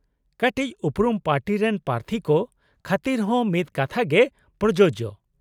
-ᱠᱟᱹᱴᱤᱪ ᱩᱯᱨᱩᱢ ᱯᱟᱨᱴᱤ ᱨᱮᱱ ᱯᱨᱟᱨᱛᱷᱤ ᱠᱚ ᱠᱷᱟᱹᱛᱤᱨ ᱦᱚᱸ ᱢᱤᱫ ᱠᱟᱛᱷᱟᱜᱮ ᱯᱨᱚᱡᱳᱡᱚ ᱾